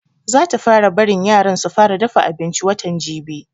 Za ta fara barin yaran su fara dafa abinci watan jibi